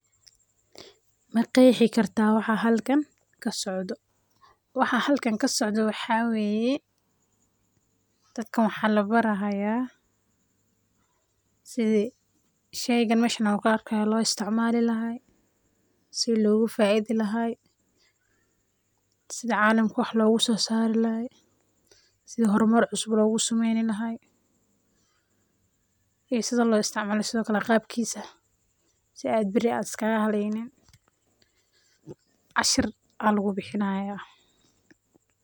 ma qeexi karta waxa halkan kasocdo. waxa halkan kasocdo wexeweye, dadkan waxa labaraya sidii sheygan laguarkayo loo isticmali lahay, sidii loga faidi laha, sidi calamka wax loga soo sari lahay, sidii hormar cusub loga sameyni laha sida loo isticmalo iyo qabkiisa sidaa beri iska haleynin. cashir aya halkan labixinaya